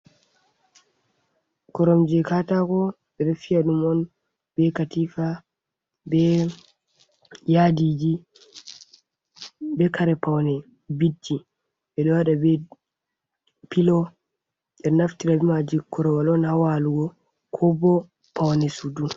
Koromje katako ɓeɗo fiya ɗum on be katifa, be yadiji, be kare paune bidji, ɓeɗo waɗa be pilo. Ɓeɗo naftira be maaji korowal on ha walugo ko bo paune sudu.